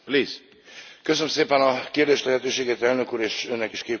Köszönöm szépen a kérdés lehetőséget, Elnök Úr, és Önnek is, Képviselő úr.